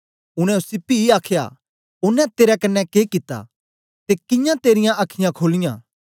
उनै उसी पी आखया ओनें तेरे कन्ने के कित्ता ते कियां तेरीयां अखीयाँ खोलीयां